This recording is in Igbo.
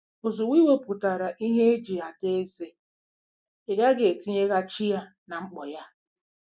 " Ozugbo ị wepụtara ihe eji ada eze, ị gaghị etinyeghachi ya na mkpọ ya.